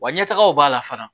Wa ɲɛtagaw b'a la fana